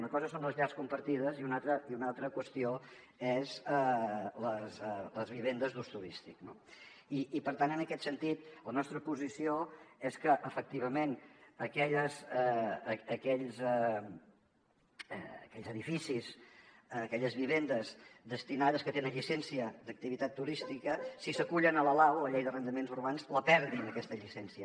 una cosa són les llars compartides i una altra qüestió són les vivendes d’ús turístic no i per tant en aquest sentit la nostra posició és que efectivament aquells edificis aquelles vivendes que tenen llicència d’activitat turística si s’acullen a la lau la llei d’arrendaments urbans la perdin aquesta llicència